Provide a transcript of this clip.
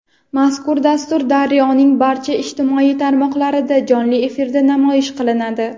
Mazkur dastur "Daryo"ning barcha ijtimoiy tarmoqlarida jonli efirda namoyish qilinadi.